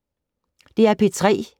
DR P3